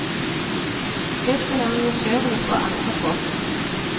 Det skal arrangørene få angre på.